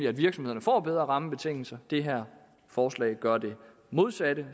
at virksomhederne får bedre rammebetingelser det her forslag gør det modsatte